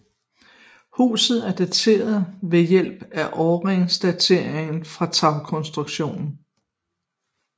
Huset er dateret ved hjælp af årringedatering af tagkonstruktionen